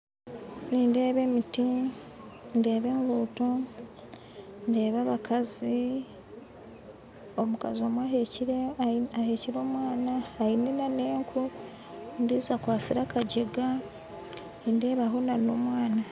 Nindeeba emiti ndeeba eguuto ndeeba abakazi, omukazi omwe aheekire omwaana aine n'enku ondijo akwatsire akagyega nindeebaho n'omwaana